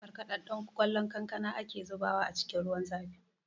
Markaɗaɗɗen ƙwallon kankana ake zubawa a cikin ruwan zafi